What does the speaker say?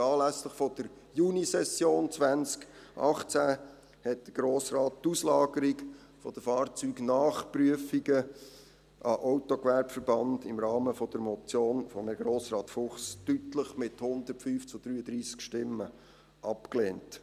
Anlässlich der Junisession 2018 lehnte der Grosse Rat die Auslagerung der Fahrzeugnachprüfungen an den Autogewerbeverband im Rahmen der Motion von Grossrat Fuchs deutlich mit 105 zu 33 Stimmen ab.